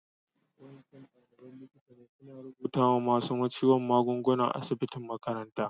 Wa'incan dalibain likita ne suna rubuta ma masun ciwo magunguna a'asibitin makarantan.